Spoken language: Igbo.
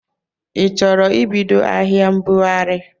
i chọrọ ibido ahịa mbụghari?